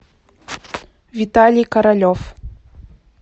виталий королев